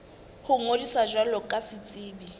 ho ngodisa jwalo ka setsebi